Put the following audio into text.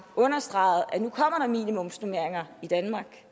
understregede at minimumsnormeringer i danmark